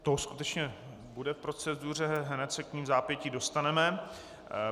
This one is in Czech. To skutečně bude v proceduře, hned se k ní vzápětí dostaneme.